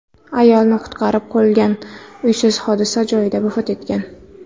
Ayolni qutqarib qolgan uysiz hodisa joyida vafot etgan.